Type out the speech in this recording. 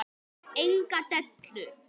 Enga dellu!